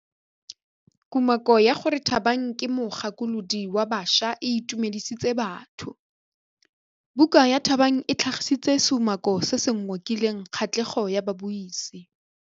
Kumakô ya gore Thabang ke mogakolodi wa baša e itumedisitse batho. Buka ya Thabang e tlhagitse seumakô se se ngokileng kgatlhegô ya babuisi.